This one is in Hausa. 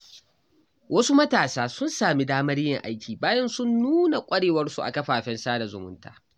Wasu matasa sun sami damar yin aiki bayan sun nuna ƙwarewarsu a kafafen sada zumunta.